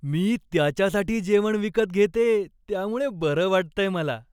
मी त्याच्यासाठी जेवण विकत घेतेय त्यामुळं बरं वाटतंय मला.